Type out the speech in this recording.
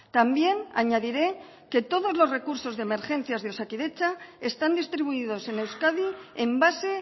también añadiré que todos los recursos de emergencias de osakidetza están distribuidos en euskadi en base